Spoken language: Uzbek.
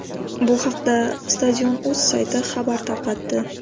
Bu haqda Stadion.uz sayti xabar tarqatdi.